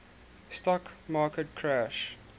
stock market crash